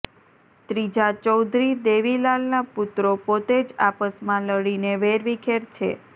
ત્રીજા ચૌધરી દેવીલાલના પુત્રો પોતે જ આપસમાં લડીને વેરવિખેર છે